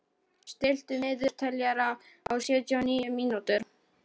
Gunnólfur, stilltu niðurteljara á sjötíu og níu mínútur.